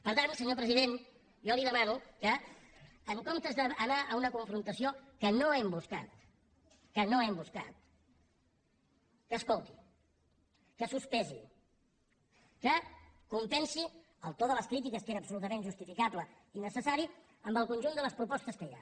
per tant senyor president jo li demano que en comptes d’anar a una confrontació que no hem buscat que no hem buscat que escolti que sospesi que compensi el to de les crítiques que era absolutament justificable i necessari amb el conjunt de les propostes que hi ha